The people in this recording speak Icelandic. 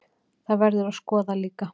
Það verður að skoða líka.